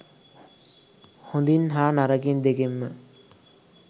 හොඳින් හා නරකින් දෙකින්ම